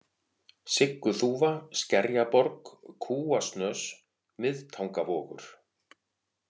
Sigguþúfa, Skerjaborg, Kúasnös, Miðtangavogur